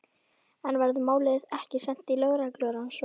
En verður málið ekki sent í lögreglurannsókn?